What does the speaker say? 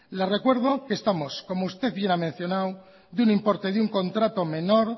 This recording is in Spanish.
le recuerdo que estamos como usted muy bien ha mencionado de un importe de un contrato menor